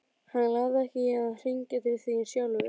Hann lagði ekki í að hringja til þín sjálfur.